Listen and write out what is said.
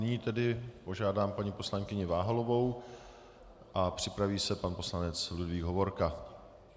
Nyní tedy požádám paní poslankyni Váhalovou a připraví se pan poslanec Ludvík Hovorka.